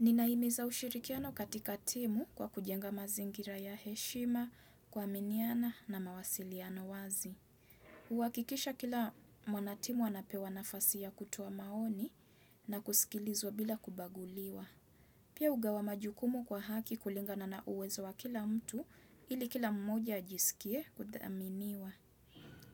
Ninahimiza ushirikiano katika timu kwa kujenga mazingira ya heshima, kuaminiana na mawasiliano wazi. Kuhakikisha kila mwanatimu anapewa nafasi ya kutoa maoni na kusikilizwa bila kubaguliwa. Pia hugawa majukumu kwa haki kulingana na uwezo wa kila mtu ili kila mmoja ajisikie kuthaminiwa.